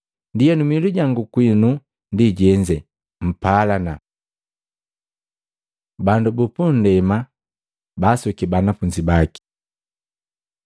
Ndienu miilu jangu kwinu ndi jenze, mpalana.” Bandu pundema bansuki banafunzi baki